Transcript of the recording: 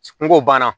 N ko o banna